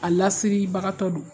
A lasiribagatɔ don